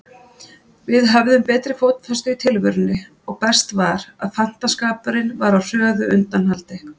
Við höfðum betri fótfestu í tilverunni og best var, að fantaskapurinn var á hröðu undanhaldi.